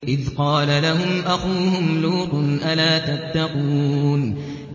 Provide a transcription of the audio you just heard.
إِذْ قَالَ لَهُمْ أَخُوهُمْ لُوطٌ أَلَا تَتَّقُونَ